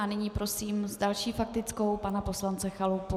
A nyní prosím s další faktickou pana poslance Chalupu.